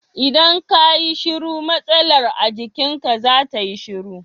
Idan ka yi shiru matsalar a jikinka za ta yi shiru.